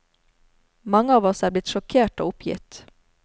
Mange av oss er blitt sjokkert og oppgitt.